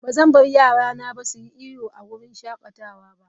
Ba zan bar yarana su yi iyo a wurin shakatawa ba.